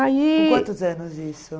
Aí... Com quantos anos isso?